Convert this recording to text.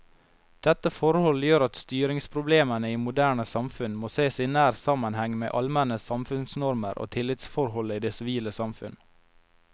Dette forhold gjør at styringsproblemene i moderne samfunn må sees i nær sammenheng med allmenne samfunnsnormer og tillitsforhold i det sivile samfunn.